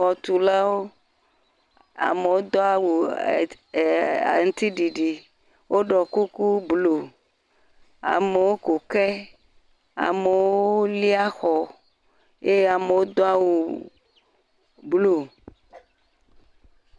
Xɔtulawo, amewo do awu ee aŋutiɖiɖi, woɖɔ kuku blu, amewo ku ke, amewo lia xɔ eye amewo do awu blu.